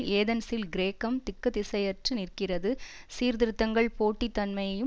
ஏதென்ஸில் கிரேக்கம் திக்குத்திசையற்று நிற்கிறது சீர்திருத்தங்கள் போட்டி தன்மையையும்